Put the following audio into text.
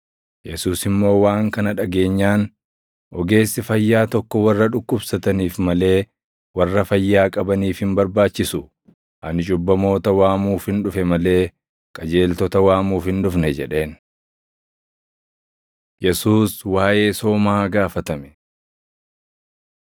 Yesuus immoo waan kana dhageenyaan, “Ogeessi fayyaa tokko warra dhukkubsataniif malee warra fayyaa qabaniif hin barbaachisu. Ani cubbamoota waamuufin dhufe malee qajeeltota waamuuf hin dhufne” jedheen. Yesuus Waaʼee Soomaa Gaafatame 2:18‑22 kwf – Mat 9:14‑17; Luq 5:33‑38